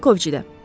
Vinkovçidə.